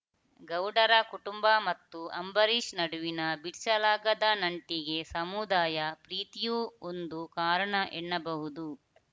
ಗೌಡರ ಕುಟುಂಬ ಮತ್ತು ಅಂಬರೀಷ್‌ ನಡುವಿನ ಬಿಡಿಸಲಾಗದ ನಂಟಿಗೆ ಸಮುದಾಯ ಪ್ರೀತಿಯೂ ಒಂದು ಕಾರಣ ಎನ್ನಬಹುದು